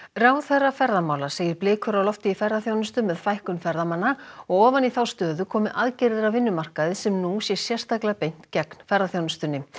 ráðherra ferðamála segir blikur á lofti í ferðaþjónustu með fækkun ferðamanna og ofan í þá stöðu komi aðgerðir á vinnumarkaði sem nú sé sérstaklega beint gegn ferðaþjónustunni